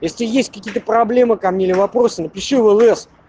если есть какие-то проблемы ко мне вопросы напиши в лс